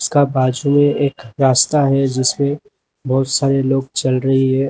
का बाजू में एक रास्ता है जिसपे बहुत सारे लोग चल रही हैं।